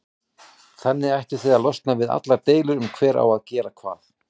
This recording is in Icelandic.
Þannig ættuð þið að losna við allar deilur um hver á að gera hvað.